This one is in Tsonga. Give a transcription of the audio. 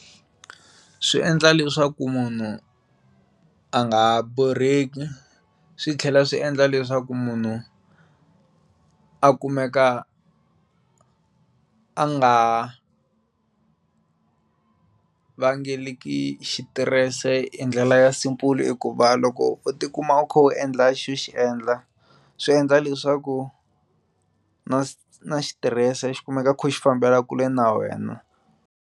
Swi endla leswaku munhu a nga borheki swi tlhela swi endla leswaku munhu a kumeka a nga vangeleki xitirese hi ndlela ya simple hikuva loko u ti kuma u kha u endla xilo xo xi endla swi endla leswaku na na xitirese xikumeka kha xi fambela kule na wena.